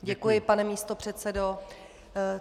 Děkuji, pane místopředsedo.